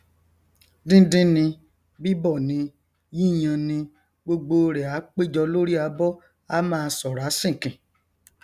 díndín ni bíbọ ni yíyan ni gbogbo rẹ á péjọ lórí abọ á máa ṣọrá sìnkìn